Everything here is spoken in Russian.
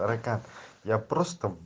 рекат я просто в